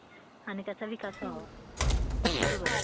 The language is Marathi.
आणि त्याचा विकास व्हावा. बरोबर.